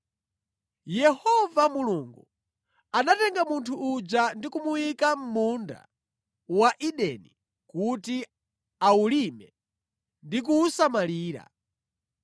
Yehova Mulungu anatenga munthu uja ndi kumuyika mʼmunda wa Edeni kuti awulime ndi kuwusamalira.